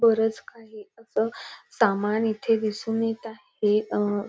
बरच काही असं सामान इथे दिसून येत आहे अ --